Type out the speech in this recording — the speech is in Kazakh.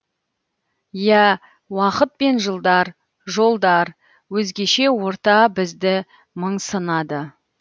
иә уақыт пен жылдар жолдар өзгеше орта бізді мың сынады